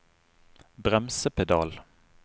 bremsepedal